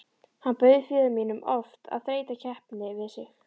Hann bauð föður mínum oft að þreyta keppni við sig.